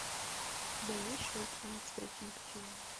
у тебя есть шоу тринадцать причин почему